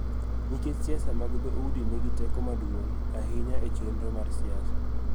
Nikech siasa mag dho udi nigi teko maduong� ahinya e chenro mar siasa.